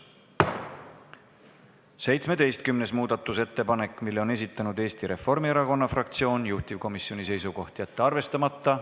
17. muudatusettepaneku on esitanud Eesti Reformierakonna fraktsioon, juhtivkomisjoni seisukoht: jätta see arvestamata.